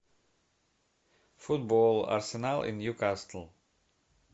футбол арсенал и ньюкасл